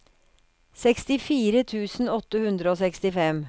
sekstifire tusen åtte hundre og sekstifem